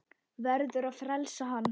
Verður að frelsa hann.